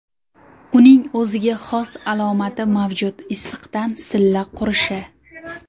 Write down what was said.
Uning o‘ziga xos alomati mavjud issiqdan silla qurishi.